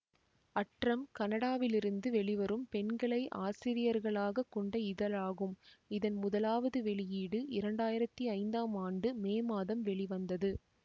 அற்றம் கனடாவிலிருந்து வெளிவரும் பெண்களை ஆசிரியர்களாகக் கொண்ட இதழாகும் இதன் முதலாவது வெளியீடு இரண்டாயிரத்தி ஐந்தாம் ஆண்டு மே மாதம் வெளிவந்தது